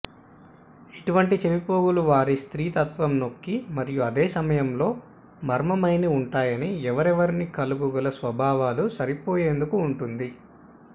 ఇటువంటి చెవిపోగులు వారి స్త్రీత్వం నొక్కి మరియు అదే సమయంలో మర్మమైన ఉంటాయి ఎవరెవరిని కలలుగల స్వభావాలు సరిపోయేందుకు ఉంటుంది